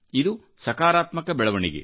ಇದು ಸಕಾರಾತ್ಮಕ ಬೆಳವಣಿಗೆ